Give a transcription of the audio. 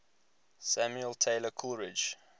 samuel taylor coleridge